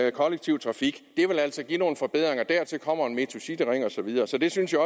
i kollektiv trafik det vil altså give nogle forbedringer dertil kommer en metrocityring og så videre så det synes jeg